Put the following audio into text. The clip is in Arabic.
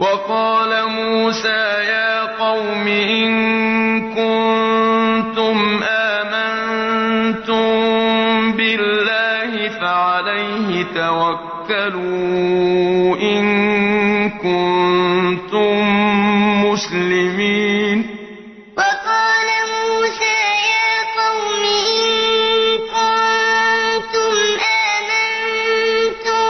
وَقَالَ مُوسَىٰ يَا قَوْمِ إِن كُنتُمْ آمَنتُم بِاللَّهِ فَعَلَيْهِ تَوَكَّلُوا إِن كُنتُم مُّسْلِمِينَ وَقَالَ مُوسَىٰ يَا قَوْمِ إِن كُنتُمْ آمَنتُم